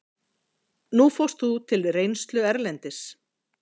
Nú fórst þú til reynslu erlendis.